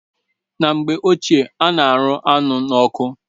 Na mgbe ochie a na-arụ anụ n'ọkụ